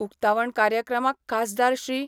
उक्तावण कार्यक्रमाक खासदार श्री.